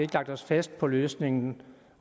lagt os fast på løsningen